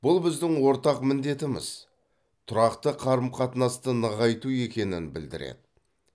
бұл біздің ортақ міндетіміз тұрақты қарым қатынасты нығайту екенін білдіреді